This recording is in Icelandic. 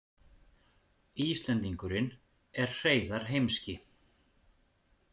Íslendingurinn er Hreiðar heimski.